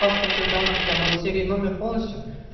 паспортных данных прям вот серию номер полностью